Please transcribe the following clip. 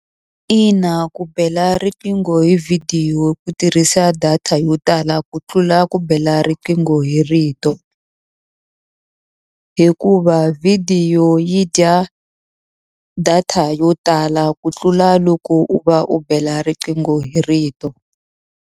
Ina ku bela riqingho hi vhidiyo ku tirhisa data yo tala ku tlula ku bela riqingho hi rito. Hikuva vhidiyo yi dya data yo tala ku tlula loko u va u bela riqingho hi rito.